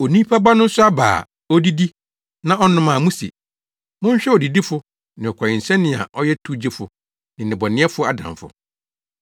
Onipa Ba no nso aba a odidi na ɔnom a muse, ‘Monhwɛ odidifo ne ɔkɔwensani a ɔyɛ towgyefo ne “nnebɔneyɛfo” adamfo!’